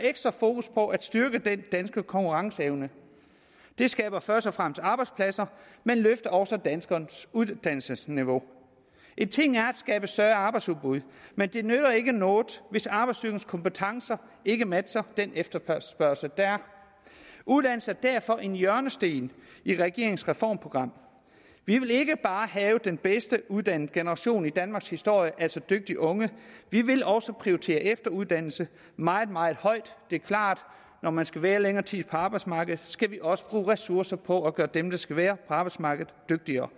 ekstra fokus på at styrke den danske konkurrenceevne det skaber først og fremmest arbejdspladser men løfter også danskernes uddannelsesniveau en ting er at skabe større arbejdsudbud men det nytter ikke noget hvis arbejdsstyrkens kompetencer ikke matcher den efterspørgsel der er uddannelse er derfor en hjørnesten i regeringens reformprogram vi vil ikke bare have den bedst uddannede generation i danmarkshistorien altså dygtige unge vi vil også prioritere efteruddannelse meget meget højt det er klart at når man skal være længere tid på arbejdsmarkedet skal vi også bruge ressourcer på at gøre dem der skal være på arbejdsmarkedet dygtigere